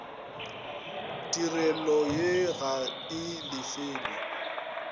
tirelo ye ga e lefelwe